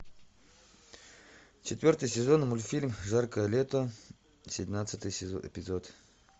четвертый сезон мультфильм жаркое лето семнадцатый эпизод